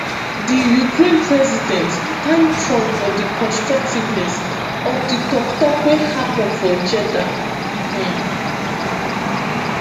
di ukraine president thank trump for "di constructiveness" of di tok-tok wey happun for jeddah. um